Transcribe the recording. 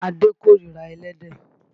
Adé kórira ẹlẹ́dẹ̀.